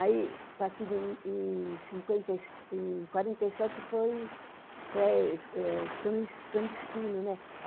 Aí, partido em quarenta e sete foi clandestino, né?